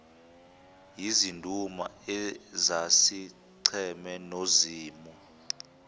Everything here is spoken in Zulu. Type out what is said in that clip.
yizinduna ezazicheme nozimu